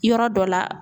Yɔrɔ dɔ la